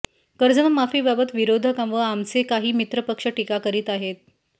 कर्जमाफीबाबत विरोधक व आमचे काही मित्रपक्ष टीका करीत आहेत